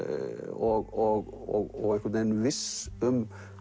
og einhvern veginn viss um